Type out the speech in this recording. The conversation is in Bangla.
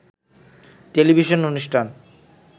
টেলিভিশন অনুষ্ঠান